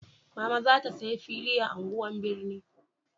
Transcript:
Mama za ta saya fili a unguwan birni